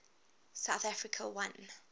south africa won